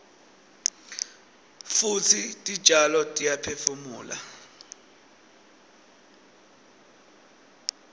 futsi titjalo tiyaphefumula